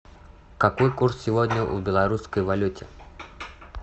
какой курс сегодня у белорусской валюты